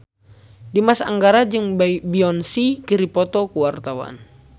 Dimas Anggara jeung Beyonce keur dipoto ku wartawan